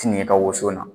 Tigi ka woso na